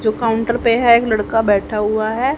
जो काउंटर पे हैं एक लड़का बैठा हुवा हैं।